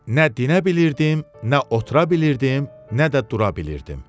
Nə dinə bilirdim, nə otura bilirdim, nə də dura bilirdim.